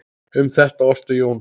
Um þetta orti Jón